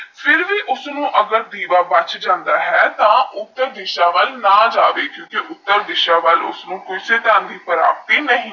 ਉਸਨੋ ਏਜਰ ਵੀਬਾ ਬੱਚ ਜੰਡਾ ਯਾ ਹਾ ਤੇ ਹਾ ਉਤਾਰ ਦਿਸ਼ਾ ਵਾਲਾ ਨਾ ਜਾਵੇ ਉਤਾਰ ਦਿਸ਼ਾ ਵਾਲਾ ਉਸਨੋ ਕੋਈ ਪ੍ਰਪਤੀ ਨਹੀ ਹੋਗੀ